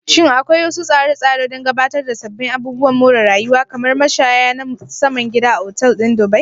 Shin akwai wasu tsare-tsare don gabatar da sabbin abubuwan more rayuwa, kamar mashaya na saman gida, a Otal ɗin Dubai?